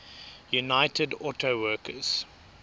united auto workers